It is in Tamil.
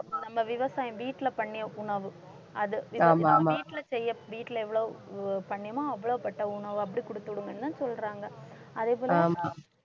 விவசாயம் வீட்டில பண்ணிய உணவு அதுவீட்டில செய்ய வீட்டில எவ்வளவு பண்ணினோமோ அவ்வளவுப்பட்ட உணவு அப்படிக் குடுத்து விடுங்கன்னுதான் சொல்றாங்க அதேபோல